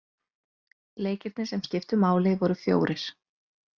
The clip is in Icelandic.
Leikirnir sem skiptu máli voru fjórir.